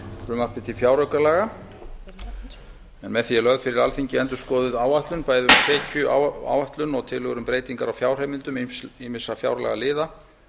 frumvarpi til fjáraukalaga en með því er lögð fyrir alþingi endurskoðuð áætlun bæði tekjuáætlun og tillögur um breytingar á fjárheimildum ýmissa fjárlagaliða